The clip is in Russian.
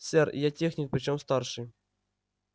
сэр я техник причём старший